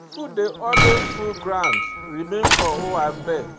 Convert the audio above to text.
Food dey alway full ground remain for owanbe,